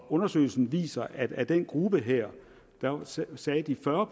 undersøgelsen viser at af den gruppe her sagde de fyrre